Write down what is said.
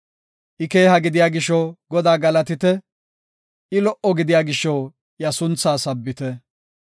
I keeha gidiya gisho Godaa galatite! I lo77o gidiya gisho iya sunthaa sabbite!